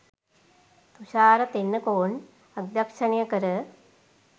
තුෂාර තෙන්නකෝන් අධ්‍යක්ෂණය කර